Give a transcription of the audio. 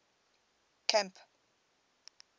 camp